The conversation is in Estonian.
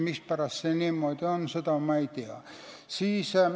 Mispärast see niimoodi on, ma ei tea.